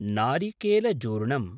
नारिकेलजूर्णम्